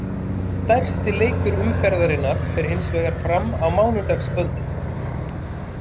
Stærsti leikur umferðarinnar fer hinsvegar fram á mánudagskvöldið.